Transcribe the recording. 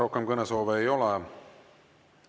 Rohkem kõnesoove ei ole.